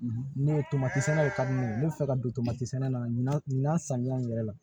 Ne ye tomati sɛnɛw ta ne bɛ fɛ ka don tomati sɛnɛ la nin saniya in yɛrɛ la